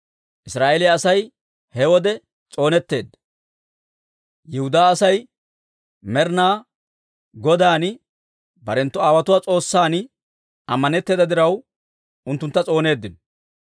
Israa'eeliyaa Asay he wode s'oonetteedda; Yihudaa Asay Med'inaa Godan, barenttu aawotuwaa S'oossan ammanetteeda diraw, unttuntta s'ooneeddino.